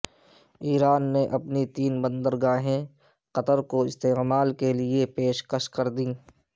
ایران نے اپنی تین بندرگاہیں قطر کو استعمال کےلیے پیشکش کردیں